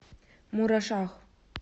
мурашах